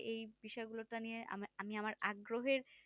এই বিষয় গুলোকে নিয়ে আমি আমার আগ্রহের